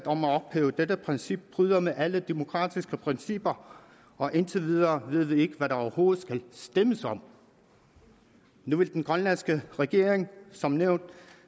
om at ophæve dette princip bryder med alle demokratiske principper og indtil videre ved vi ikke hvad der overhovedet skal stemmes om nu vil den grønlandske regering som nævnt